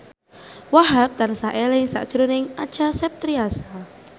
Wahhab tansah eling sakjroning Acha Septriasa